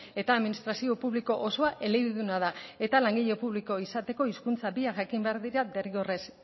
eta administrazio publiko osoa elebiduna da eta langile publiko izateko hizkuntza biak jakin behar dira derrigorrez